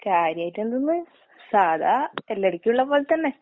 കാര്യായിട്ടെന്ത്ന്ന്? സാധാ എല്ലാടയ്ക്കും ഇള്ളപോലെ തന്നെ.